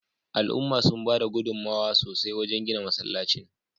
Al'umma sun bada gudunmawa sosai wajen gina masallacin